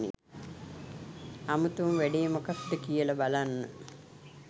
අමුතුම වැඩේ මොකද්ද කියල බලන්න